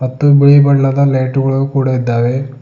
ಮತ್ತು ಬಿಳಿ ಬಣ್ಣದ ಲೈಟುಗಳು ಕೂಡ ಇದ್ದಾವೆ.